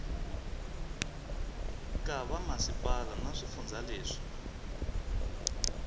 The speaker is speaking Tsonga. ka vamasipala na swifundza leswi